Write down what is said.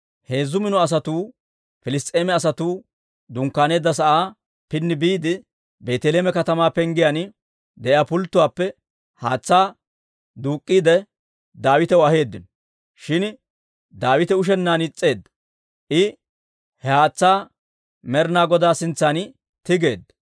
Heezzu mino asatuu Piliss's'eema asatuu dunkkaaneedda sa'aa pini biide, Beeteleeme katamaa penggiyaan de'iyaa pulttuwaappe haatsaa duuk'k'iide, Daawitaw aheeddino. Shin Daawite ushennaan is's'eedda; I he haatsaa Med'inaa Godaa sintsan tigeedda.